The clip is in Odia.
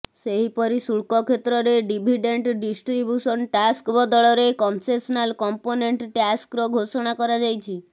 ସେହିପରି ଶୁଳ୍କ କ୍ଷେତ୍ରରେ ଡିଭିଡେଣ୍ଟ ଡିଷ୍ଟ୍ରିବ୍ୟୁସନ ଟ୍ୟାକ୍ସ ବଦଳେ କନସେସନାଲ କମ୍ପୋନେଣ୍ଟ ଟ୍ୟାକ୍ସର ଘୋଷଣା କରାଯାଇଛି